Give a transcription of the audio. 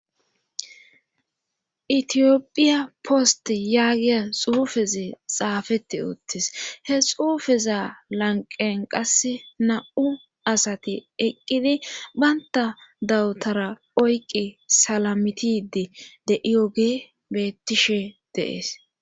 Itiyopphiya poste yaagiya xuufezi xaafeti uttis he xuufeza lanqen qas nam7u asati eqqidi baynta dawutara oyqi salamitidi de iyoge bettishe deees.